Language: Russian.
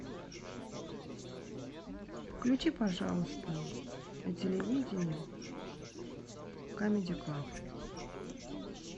включи пожалуйста на телевидении камеди клаб